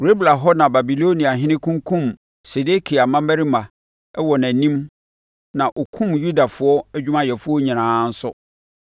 Ribla hɔ na Babiloniahene kunkumm Sedekia mmammarima wɔ nʼanim na ɔkumm Yudafoɔ adwumayɛfoɔ nyinaa nso.